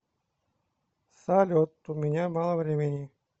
салют у меня мало времени